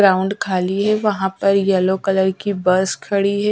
Ground खाली है वहाँ पर येलो कलर की बस खड़ी है।